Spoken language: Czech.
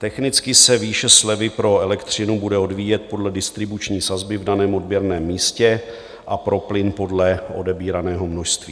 Technicky se výše slevy pro elektřinu bude odvíjet podle distribuční sazby v daném odběrném místě a pro plyn podle odebíraného množství.